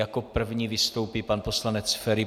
Jako první vystoupí pan poslanec Feri.